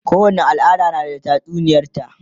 kowani al'ada na da tatsuniyar ta